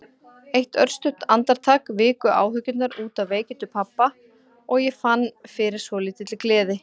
Eitt örstutt andartak viku áhyggjurnar út af veikindum pabba og ég fann fyrir svolítilli gleði.